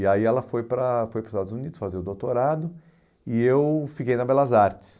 E aí ela foi para foi para os Estados Unidos fazer o doutorado e eu fiquei na Belas Artes.